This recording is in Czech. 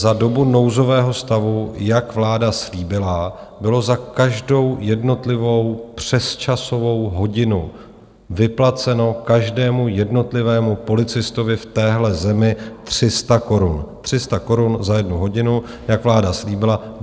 Za dobu nouzového stavu, jak vláda slíbila, bylo za každou jednotlivou přesčasovou hodinu vyplaceno každému jednotlivému policistovi v téhle zemi 300 korun, 300 korun za jednu hodinu, jak vláda slíbila.